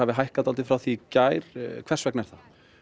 hækkað mikið frá því í gær hvers vegna er það